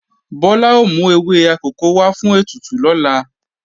Bọ́lá ó mú ewé akòko wá fún ètùtù lọ́la